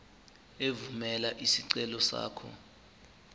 evumela isicelo sakho